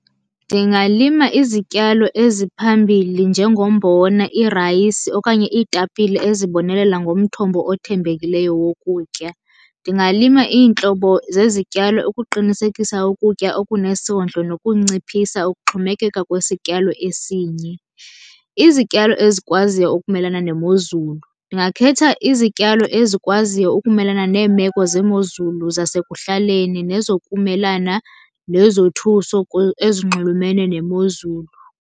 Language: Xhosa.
Ndingalima izityalo eziphambili njengombona, irayisi okanye iitapile ezibonelela ngomthombo othembekileyo wokutya. Ndingalima iintlobo zezityalo ukuqinisekisa ukutya okunesondlo nokunciphisa ukuxhomekeka kwisityalo esinye. Izityalo ezikwaziyo ukumelana nemozulu, ndingakhetha izityalo ezikwaziyo ukumelana neemeko zeemozulu zasekuhlaleni nezokumelana nezothuso ezinxulumene nemozulu.